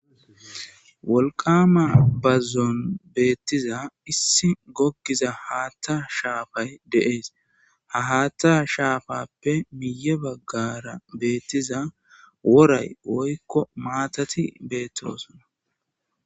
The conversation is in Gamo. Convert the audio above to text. Wolqama bazzon beettiza issi gokkiza haatta shaafay deees ha haatta shaafappe miye baggara beettiza woray woykko maatati beettroosana.